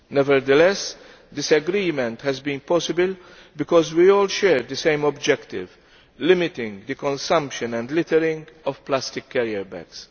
Nevertheless, this agreement has been possible because we all share the same objective limiting the consumption and littering of plastic carrier bags.